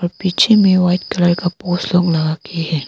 पीछे में white colour का फोटो लगा के हैं।